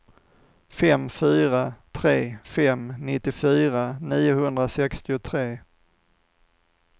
fem fyra tre fem nittiofyra niohundrasextiotre